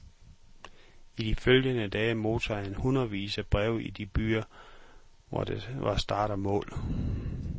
I de følgende dage modtog han hundredevis af breve i de byer, hvor der var start og mål.